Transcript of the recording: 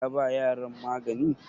ya ba yaran magani?